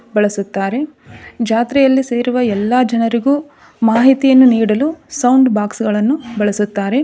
ಬಳಸುತ್ತಾರೆ. ಜಾತ್ರೆಯಲ್ಲಿ ಸೇರುವ ಎಲ್ಲ ಜನರಿಗೂ ಮಾಹಿತಿಯನ್ನು ನೀಡಲು ಸೌಂಡ್ ಬಾಕ್ಸ್ ಗಳನ್ನೂ ಬಳಸುತ್ತಾರೆ.